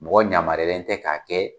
Mɔgɔ yamaruyalen tɛ k'a kɛ